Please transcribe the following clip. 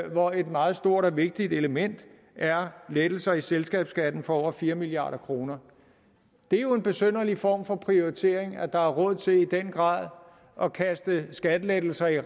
hvor et meget stort og vigtigt element er lettelser af selskabsskatten for over fire milliard kroner det er jo en besynderlig form for prioritering at der er råd til i den grad at kaste skattelettelser i